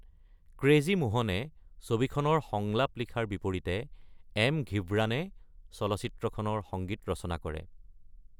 Crazy মোহনে ছবিখনৰ সংলাপ লিখাৰ বিপৰীতে এম. ঘিব্ৰানে চলচ্চিত্ৰখনৰ সংগীত ৰচনা কৰে।